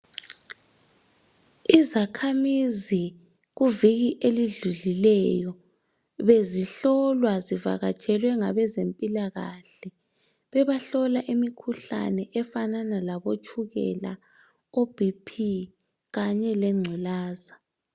Izakhamizi kuviki elidlulileyo bezihlolwa zivakatshelwe ngabezempilakahle bebahlola imikhuhlane efanana labo tshukela obp kanye lengculaza.